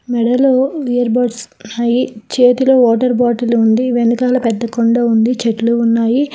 మెడలో earbuds చేతులు water bottle ఉంది వెనకాల పెద్ద కొండ ఉంది చెట్లు ఉన్నాయి.